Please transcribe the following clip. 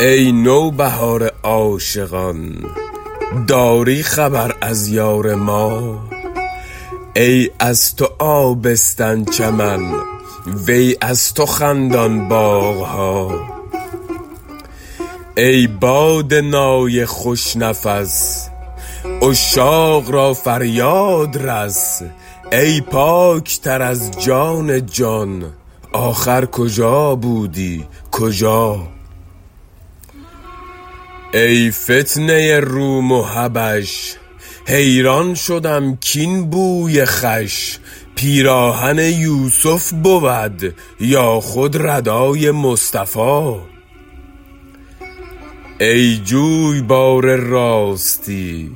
ای نوبهار عاشقان داری خبر از یار ما ای از تو آبستن چمن وی از تو خندان باغ ها ای باد نای خوش نفس عشاق را فریاد رس ای پاک تر از جان جا ن آخر کجا بودی کجا ای فتنه روم و حبش حیران شدم کاین بوی خوش پیراهن یوسف بود یا خود ردای مصطفی ای جویبار راستی